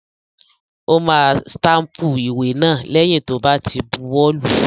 Ó máa stámpù ìwé náà lẹ́yìn tó bá ti buwọ́ lùú.